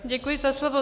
Děkuji za slovo.